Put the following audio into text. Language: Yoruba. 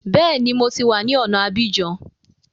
Bẹ́ẹ̀ni, mo ti wá ní ọ̀na Abidjan